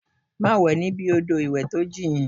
Má wẹ̀ níbi odò ìwẹ̀ tó jìn!